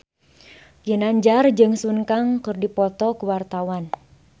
Ginanjar jeung Sun Kang keur dipoto ku wartawan